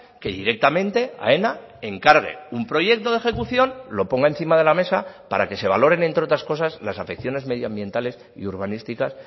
que directamente aena encargue un proyecto de ejecución lo ponga encima de la mesa para que se valoren entre otras cosas las afecciones medioambientales y urbanísticas